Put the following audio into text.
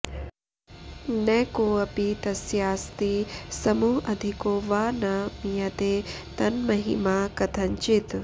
न कोऽपि तस्यास्ति समोऽधिको वा न मीयते तन्महिमा कथञ्चित्